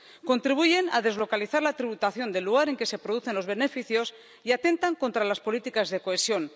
Contribuyen a deslocalizar la tributación del lugar en que se producen los beneficios y atentan contra las políticas de cohesión.